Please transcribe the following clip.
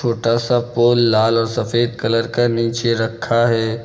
छोटा सा पोल लाल और सफेद कलर का नीचे रखा है।